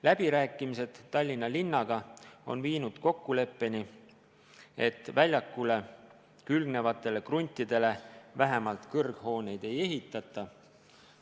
Läbirääkimised Tallinna linnaga on viinud kokkuleppeni, et väljakuga külgnevatele kruntidele vähemalt kõrghooneid ei ehitata.